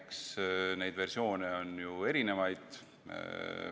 Eks neid versioone on erinevaid.